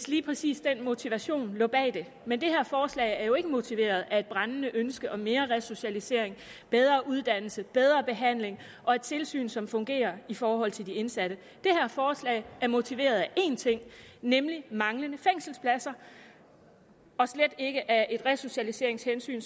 lige præcis den motivation der lå bag det men det her forslag er jo ikke motiveret af et brændende ønske om mere resocialisering bedre uddannelse bedre behandling og et tilsyn som fungerer i forhold til de indsatte det her forslag er motiveret af én ting nemlig manglende fængselspladser og slet ikke af resocialiseringshensyn